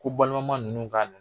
Ko balimama ninnu ka